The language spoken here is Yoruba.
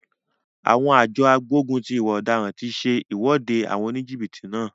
Àwọn àjọ agbógun ti ìwà ọ̀daràn ti se ìwọ́de àwọn oníjìbìtì náà.